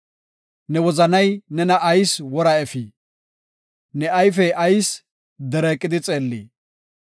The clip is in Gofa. Ne wozanay nena ayis wora efii? Ne ayfey ayis dereeqidi xeellii?